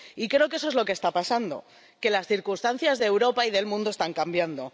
Y creo que eso es lo que está pasando que las circunstancias de Europa y del mundo están cambiando.